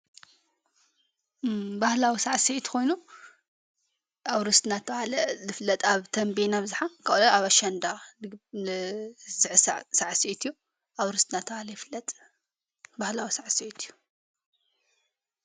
ባህላዉ ሠዓሰዕት ኾይኑ ኣውርስ ትናተባለ ልፍለጥ ኣብ ተንበን ናኣፍዝኃ ካለይ ኣብኣሻንዳ ድግሠዓሰዩ ኣርስትናትዓለ ይፍለጥ በሕላዊ ሠዓ ሰት እዩ::